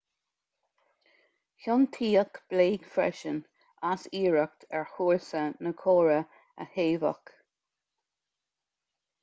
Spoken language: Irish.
ciontaíodh blake freisin as iarracht ar chúrsa na córa a shaobhadh